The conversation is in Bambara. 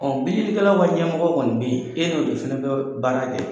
bililikɛlaw ka ɲɛmɔgɔ kɔni be ye, e n'o de fɛnɛ dɔ baara kɛ.